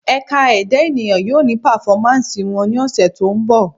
Ẹ̀ka Ẹ̀dá ènìyàn yóò ní pàfọ́másì wọn ní ọ̀sẹ̀ tó ńbọ̀